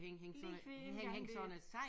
Lige ved æ indgang ved